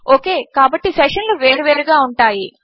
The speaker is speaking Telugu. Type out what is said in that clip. ఒకాయ్ -కాబట్టి సెషన్లు వేరు వేరుగా ఉంటాయి